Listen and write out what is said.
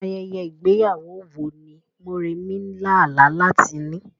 Ayẹyẹ ìgbéyàwó wo ni Moremi ń lá àlá láti ní?